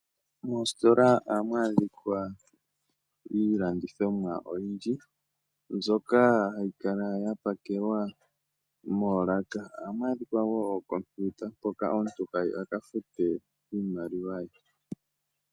Moositola ohamu adhikwa iilandithomwa oyindji. Mbyoka hayi kala ya pakelwa moolaka. Ohamu adhikwa wo ookompiuta mpoka omuntu hayi a kafute iimaliwa ye.